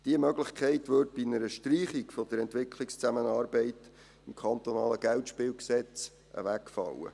Diese Möglichkeit würde bei einer Streichung der Entwicklungszusammenarbeit im KGSG wegfallen.